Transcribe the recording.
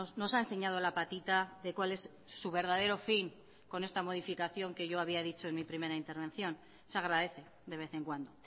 nos ha enseñado la patita de cuál es su verdadero fin con esta modificación que yo había dicho en mi primera intervención se agradece de vez en cuando